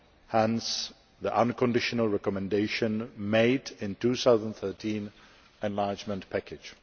hence the unconditional recommendation made in the 2013 enlargement package.